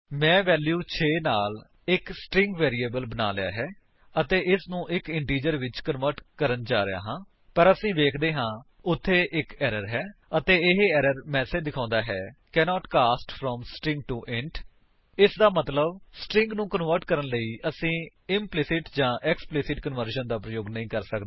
ਮੈਂ ਵੈਲਿਊ 6 ਦੇ ਨਾਲ ਇੱਕ ਸਟਰਿੰਗ ਵੈਰਿਏਬਲ ਬਣਾ ਲਿਆ ਹੈ ਅਤੇ ਮੈਂ ਇਸਨੂੰ ਇੱਕ ਇੰਟੀਜਰ ਵਿੱਚ ਕਨਵਰਟ ਕਰਨ ਜਾ ਰਿਹਾ ਹਾਂ ਪਰ ਅਸੀ ਵੇਖਦੇ ਹਾਂ ਉੱਥੇ ਇੱਕ ਏਰਰ ਹੈ ਅਤੇ ਇਹ ਏਰਰ ਮੈਸੇਜ ਦਿਖੋਉਂਦਾ ਹੈ cannot cast from string to int ਇਸਦਾ ਮਤਲੱਬ ਸਟਰਿੰਗ ਨੂੰ ਕਨਵਰਟ ਕਰਨ ਲਈ ਹੈ ਅਸੀ ਇੰਪਲੀਸਿਟ ਜਾਂ ਐਕਸਪਲਿਸਿਟ ਕਨਵਰਜਨ ਦਾ ਪ੍ਰਯੋਗ ਨਹੀਂ ਕਰ ਸੱਕਦੇ